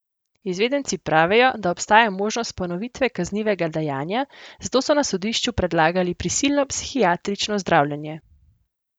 Izvedenci pravijo, da obstaja možnost ponovitve kaznivega dejanja, zato so na sodišču predlagali prisilno psihiatrično zdravljenje.